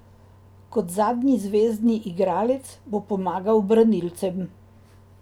Kot zadnji zvezni igralec bo pomagal branilcem.